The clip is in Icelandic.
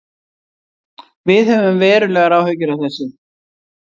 Við höfum verulegar áhyggjur af þessu